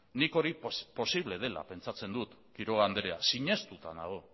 nik hori posible dela pentsatzen du quiroga andrea sinestuta nago